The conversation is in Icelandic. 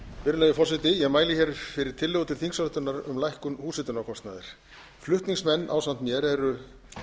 virðulegi forseti ég mæli hér fyrir tillögu til þingsályktunar um lækkun húshitunarkostnaðar flutningsmenn ásamt mér eru